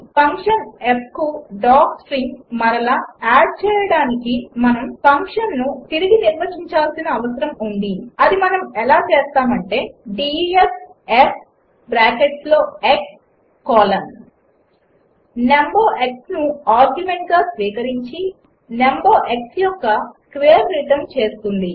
function fకు docstring మరల add చేయడానికి మనము ఫంక్షన్ను తిరిగి నిర్వచించాల్సిన అవసరం ఉంది అది మనం ఎలా చేస్తామంటే డీఇఎఫ్ f బ్రాకెట్స్లో x కోలన్ నంబర్ xను ఆర్గ్యుమెంట్గా స్వీకరించి నంబర్ x యొక్క స్క్వేర్ రిటర్న్ చేస్తుంది